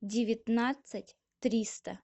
девятнадцать триста